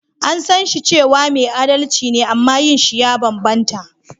An san shi cewa mai adalci ne amma yin shi ya banbanta.